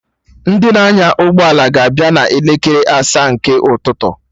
Ndị na-anya ụgbọ ala ga abịa na elekere asaa nke ụtụtụ